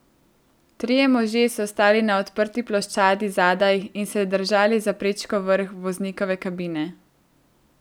Trije možje so stali na odprti ploščadi zadaj in se držali za prečko vrh voznikove kabine.